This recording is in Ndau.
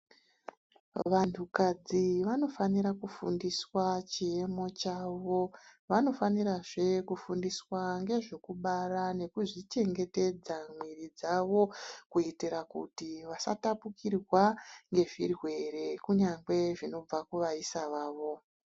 Vantu kadzi vanofanira kufundiswa chiyemo chavo vanofanirazve kufundiswa ngezvekubara nekuzvichengetedza mwiri dzavo. Kuitira kuti vasatapukirwa ngezvirwere kunyangwe zvinobva kuvaisa vavo.